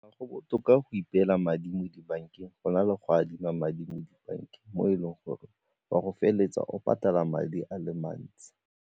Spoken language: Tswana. Go botoka go ipela madi mo dibankeng go na le go adima madi mo dibankeng mo e leng gore o a go feleletsa o patala madi a le mantsi.